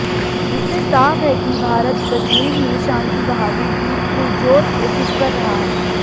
इससे साफ है कि भारत कश्मीर में शांति बहाली की पुरजोर कोशिश कर रहा है